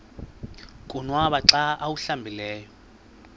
konwaba xa awuhlambileyo